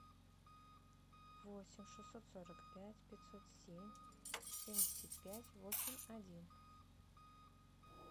восемь шестьсот сорок пять пятьсот семь семьдесят пять восемь один